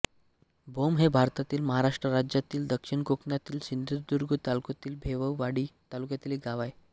भोम हे भारतातील महाराष्ट्र राज्यातील दक्षिण कोकणातील सिंधुदुर्ग जिल्ह्यातील वैभववाडी तालुक्यातील एक गाव आहे